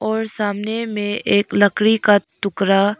और सामने में एक लकड़ी का टुकड़ा--